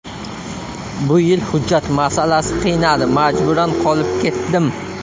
Bu yil hujjat masalasi qiynadi, majburan qolib ketdim.